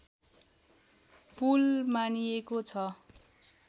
पुल मानिएको छ